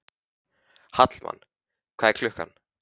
Hallmann, hvað er klukkan?